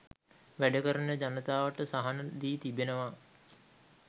වැඩකරන ජනතාවට සහන දී තිබෙනවා.